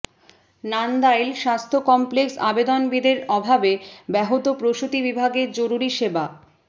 নান্দাইল স্বাস্থ্য কমপ্লেক্স অবেদনবিদের অভাবে ব্যাহত প্রসূতি বিভাগের জরুরি সেবা